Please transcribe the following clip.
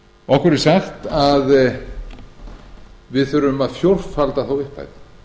okkur er sagt að við þurfum að fjórfalda þá upphæð